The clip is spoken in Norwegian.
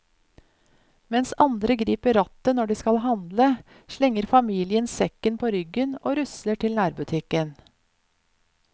Mens andre griper rattet når de skal handle, slenger familien sekken på ryggen og rusler til nærbutikken.